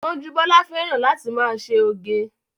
Gbọ́njúbọ́lá fẹ́ràn láti máa ṣe oge